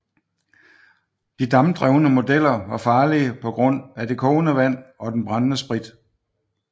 De dampdrevne modeller var farlige på grund af de kogende vand og den brændende sprit